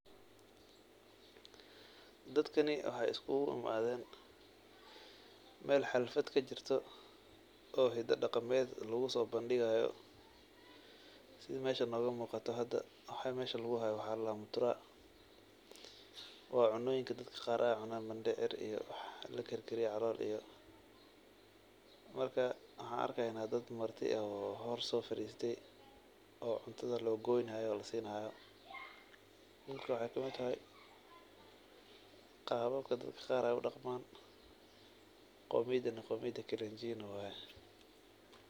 Dadkani waxay iskugu imadheen meel xalfad kajirto oo heed dhaqameet laqusobandiqayo, sidhii meesh nogomuqato hada waxa ladaha mutura, waa cunoyiin daad qaar ay cunayan mandeer iyo wax lakarkariyo calool iyo markaa waxa arkayna dad marti aa hoor soo fadiste oo cuntadha loo qoynayo oo lasinayo marka waxay kaa mitahay qaa babkaa daad qaar ay u dhaqman qoomidana waa qoomiyada Kalenjin waye.